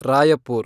Raipur